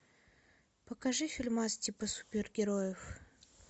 покажи фильмас типа супергероев